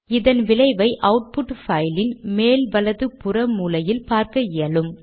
இதன் விளைவை அவுட்புட் பைலின் மேல் வலது புற மூலையில் பார்க்க இயலும்